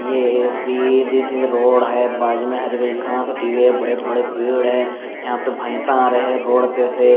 ये एक सीधी सी रोड है बाजु में हरी भरी घास और टीवी है बड़े बड़े पेड़ है यहाँ भाईसा आ रहे है रोड पर से--